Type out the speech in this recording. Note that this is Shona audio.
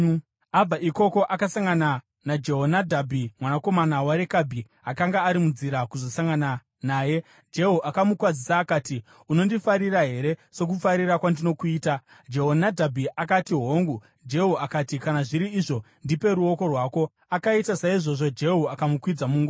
Abva ikoko, akasangana naJehonadhabhi mwanakomana waRekabhi, akanga ari munzira kuzosangana naye. Jehu akamukwazisa akati, “Unondifarira here, sokufarira kwandinokuita.” Jehonadhabhi akati, “Hongu.” Jehu akati, “Kana zviri izvo ndipe ruoko rwako.” Akaita saizvozvo, Jehu akamukwidza mungoro.